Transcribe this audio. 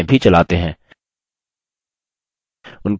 spoken tutorials का उपयोग करके कार्यशालाएँ भी चलाते हैं